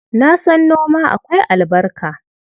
Na san noma akwai albarka.